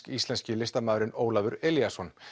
íslenski listamaðurinn Ólafur Elíasson